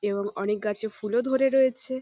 এবং অনেক গাছে ফুল ও ধরে রয়েছে ।